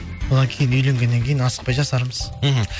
одан кейін үйленгеннен кейін асықпай жасармыз мхм